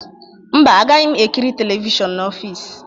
Mba, agaghị m ekiri telivishọn n'ọfịs